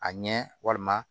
A ɲɛ walima